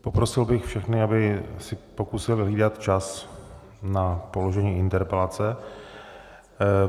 Poprosil bych všechny, aby si pokusili hlídat čas na položení interpelace.